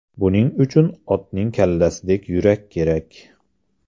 Buning uchun otning kallasidek yurak kerak.